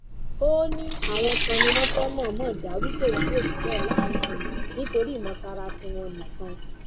ó òní àwọn kan ni wọn fẹẹ mọọnmọ dá rúkèrúdò sílẹ láàrin àwọn nítorí ìmọtara tiwọn nìkan